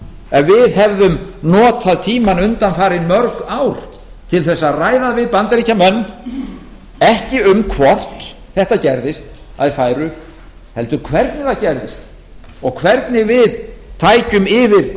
ef við hefðum notað tímann undanfarin mörg ár til þess að ræða við bandaríkjamenn ekki um hvort þetta gerðist að þeir færu heldur hvernig það gerðist og hvernig við tækjum yfir